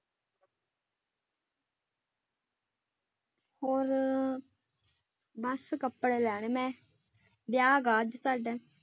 ਹੋਰ ਬਸ ਕੱਪੜੇ ਲੈਣੇ ਮੈਂ ਵਿਆਹ ਗਾ ਅੱਜ ਸਾਡੇ